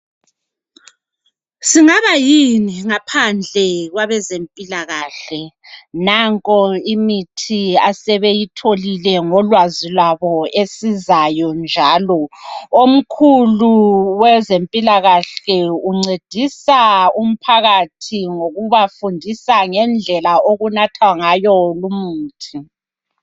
Singabayini ngaphandle kwabezempilakahle nanko imithi asebeyitholile ngolwazi lwabo esizayo njalo omkhulu wezempilakahle uncedisa umphakathi ngokubafundisa ngedlela okunathwa ngayo lumuthi.